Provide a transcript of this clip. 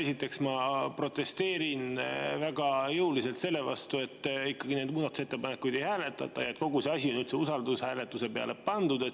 Esiteks ma protesteerin väga jõuliselt selle vastu, et neid muudatusettepanekuid ei hääletata ja et kogu see asi on üldse usaldushääletusele pandud.